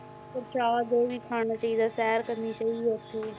ਉਹ ਜ਼ਿਆਦਾ ਖਾਣਾ ਚਾਹੀਦਾ, ਸ਼ੈਰ ਕਰਨੀ ਚਾਹੀਦੀ ਹੈ ਉੱਥੇ